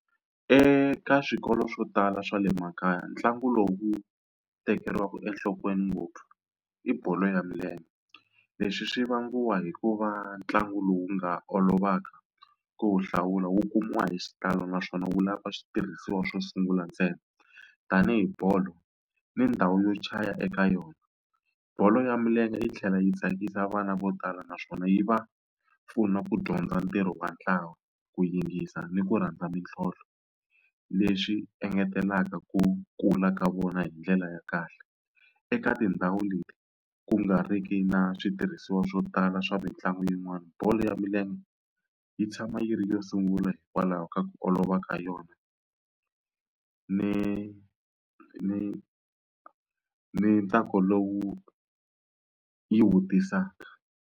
Eka swikolo swo tala swa le makaya ntlangu lowu tekeriwaka enhlokweni ngopfu i bolo ya milenge leswi swi vangiwa hikuva ntlangu lowu nga olovaka ku hlawula wu kumiwa hi xitalo naswona wu lava switirhisiwa swo sungula ntsena tanihi bolo ni ndhawu yo chaya eka yona bolo ya milenge yi tlhela yi tsakisa vana vo tala naswona yi va pfuna ku dyondza ntirho wa ntlawa ku yingisa ni ku rhandza mintlhontlho leswi engetelaka ku kula ka vona hi ndlela ya kahle eka tindhawu leti ku nga ri ki na switirhisiwa swo tala swa mitlangu yin'wani bolo ya milenge yi tshama yi ri yo sungula hikwalaho ka ku olova ka yona ni ni ni ntsako lowu yi wu tisaka.